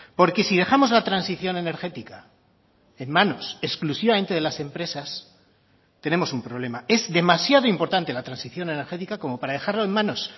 porque si dejamos la transición energética en manos exclusivamente de las empresas tenemos un problema es demasiado importante la transición energética como para dejarlo en manos